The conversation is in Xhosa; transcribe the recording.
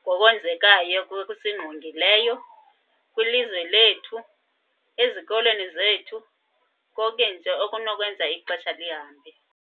ngokwenzekayo okusingqongileyo kwilizwe lethu, ezikolweni zethu, konke nje okunokwenza ixesha lihambe.